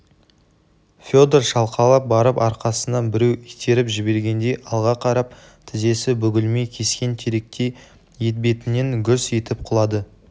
федор шалқалап барып арқасынан біреу итеріп жібергендей алға қарап тізесі бүгілмей кескен теректей етбетінен гүрс етіп құлады